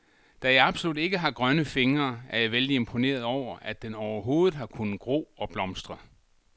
Da jeg absolut ikke har grønne fingre, er jeg vældig imponeret over, at den overhovedet har kunnet gro og blomstre.